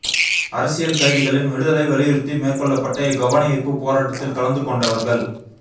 அரசியல் கைதிகளின் விடுதலை வலியுறுத்தி மேற்கொள்ளப்பட்ட இக் கவனயீர்ப்பு போராட்டத்தில் கலந்துகொண்டவர்கள்